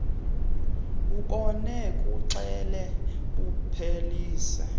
bubone buxele buphelise